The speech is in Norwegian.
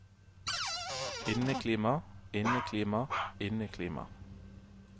inneklima inneklima inneklima